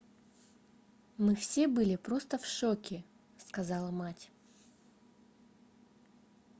мы все были просто в шоке - сказала мать